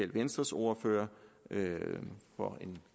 venstres ordfører for en